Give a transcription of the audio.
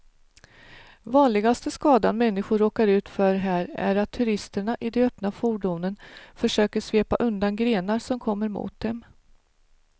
Vanligaste skadan människor råkar ut för här är att turisterna i de öppna fordonen försöker svepa undan grenar som kommer mot dem.